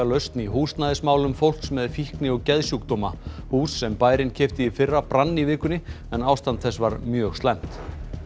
lausn í húsnæðismálum fólks með fíkni og geðsjúkdóma hús sem bærinn keypti í fyrra brann í vikunni en ástand þess var mjög slæmt